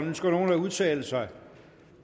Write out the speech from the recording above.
ønsker nogen at udtale sig